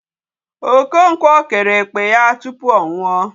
Okonkwo kere ekpe ya tupu ọ nwụọ.